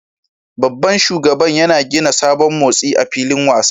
Babban shugaban yana gina sabon motsi a filin wasa